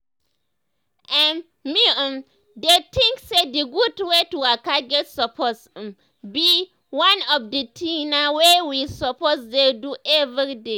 ermm me um dey tink say d gud wey to waka get suppose um be um one of d tina wey we suppose dey do everyday.